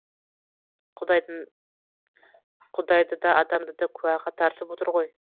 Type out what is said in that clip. құдайды да адамды да куәға тартып отыр ғой